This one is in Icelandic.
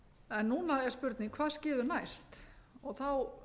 en núna er spurning hvað skeður næst þá